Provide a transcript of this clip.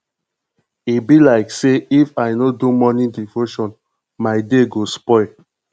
e be like sey if i no do morning devotion my day go spoil